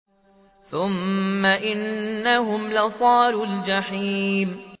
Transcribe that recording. ثُمَّ إِنَّهُمْ لَصَالُو الْجَحِيمِ